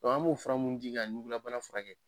an b'o fura minnu di ka jugunnabana furakɛ.